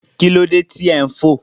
Kí ló dé tí ò ń fò?